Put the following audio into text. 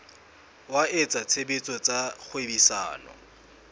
wa etsa tshebetso tsa kgwebisano